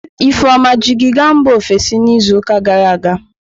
Ifeoma ji gị gaa mba ofesi n'izuụka gara aga?